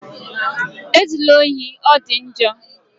E zula ohi, ọ dị njọ!